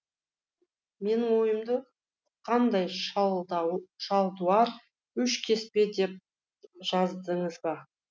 менің ойымды ұққандай шалдуар үш кеспе деп жаздыңыз ба